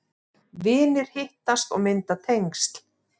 Vinir hittast og mynda tengsl